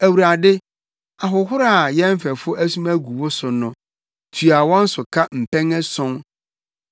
Awurade, ahohora a yɛn mfɛfo asum agu wo so no, tua wɔn so ka mpɛn ason.